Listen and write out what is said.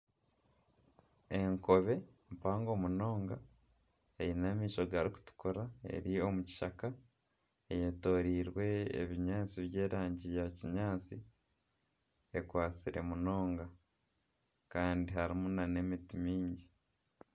Enkobe mpango munonga eine amaisho garikutukura eri omu kishaka. Eyetoroirwe ebinyaatsi by'erangi ya kinyaatsi. Ekwatsire munonga kandi harimu nana emiti mingi.